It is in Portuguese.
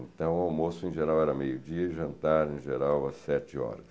Então, o almoço, em geral, era meio-dia e o jantar, em geral, às sete horas.